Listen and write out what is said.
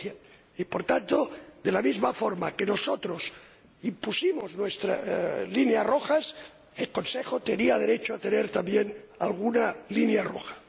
100 Y, por tanto, de la misma forma que nosotros impusimos nuestras líneas rojas, el Consejo tenía derecho a tener también alguna línea roja.